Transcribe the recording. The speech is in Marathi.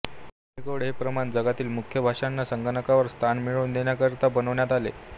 युनिकोड हे प्रमाण जगातील मुख्य भाषांना संगणकावर स्थान मिळवून देण्याकरिता बनवण्यात आले